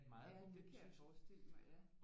Ja det kan jeg forestille mig ja